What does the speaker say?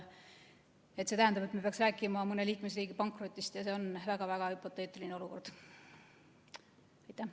See tähendab, et me peaks rääkima mõne liikmesriigi pankrotist, aga see on väga-väga hüpoteetiline olukord.